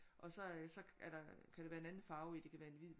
Og så så er der kan være en anden farve i det kan være en hvid